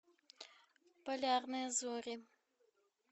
полярные зори